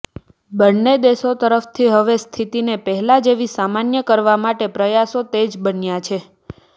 બને દેશો તરફથી હવે સ્થિતિને પહેલા જેવી સામાન્ય કરવા માટે પ્રયાસો તેજ બન્યા છે